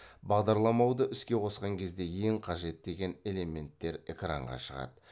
бағдарламауды іске қосқан кезде ең қажет деген элементтер экранға шығады